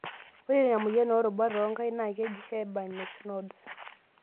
Ore ina moyian oorubat oonkaik naa keji Heberdens nodes.